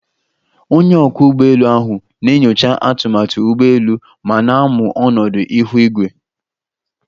Onye ọkwọ ụgbọelu ahụ na-enyocha atụmatụ ụgbọ elu ma na-amụ ọnọdụ ihu igwe